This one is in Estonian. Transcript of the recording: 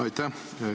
Aitäh!